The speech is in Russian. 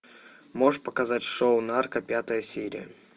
можешь показать шоу нарко пятая серия